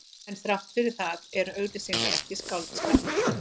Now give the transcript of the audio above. En þrátt fyrir það eru auglýsingar ekki skáldskapur.